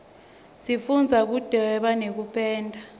sifundza kudvweba nekupenda